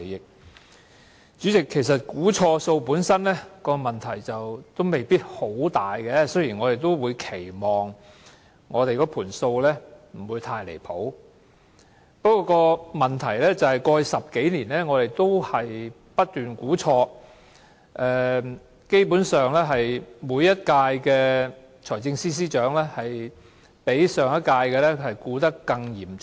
代理主席，其實錯估盈餘本身問題不一定很大，雖然我們也期望數字不會相差太遠，不過問題是過去10多年來，政府不斷錯估盈餘，基本上歷任財政司司長的估算均較上一任的估算錯得更嚴重。